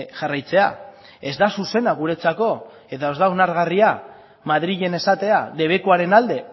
jarraitzea ez da zuzena guretzako eta ez da onargarria madrilen esatea debekuaren alde